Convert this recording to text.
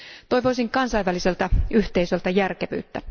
Toivoisin kansainväliseltä yhteisöltä järkevyyttä.